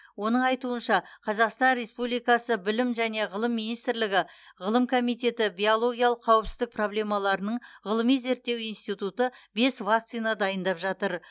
оның айтуынша қазақстан республикасы білім және ғылым министрлігі ғылым комитеті биологиялық қауіпсіздік проблемаларының ғылыми зерттеу институты бес вакцина дайындап жатыр